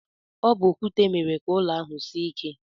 Ọ bu okwute mere ka ụlọ ahụ sie ike.